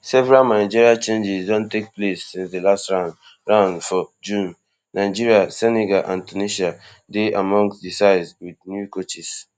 several managerial changes don take place since di last round round for june nigeria senegal and tunisia dey among di sides wit new coaches